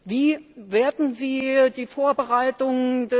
Wie bewerten Sie die Vorbereitung bzw.